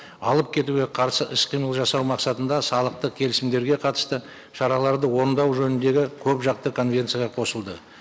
алып кетуге қарсы іс қимыл жасау мақсатында салықтық келісімдерге қатысты шараларды орындау жөніндегі көп жақты конвенцияға қосылды